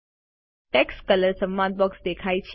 text colour સંવાદ box દેખાય છે